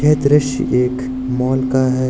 दृश्य एक मॉल का है।